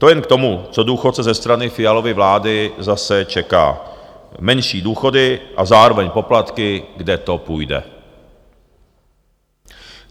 To jen k tomu, co důchodce ze strany Fialovy vlády zase čeká: menší důchody a zároveň poplatky, kde to půjde.